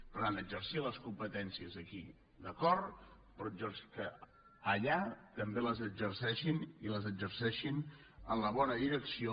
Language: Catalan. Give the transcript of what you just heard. per tant exercir les competències aquí d’acord però que allà també les exerceixin i les exerceixin en la bona direcció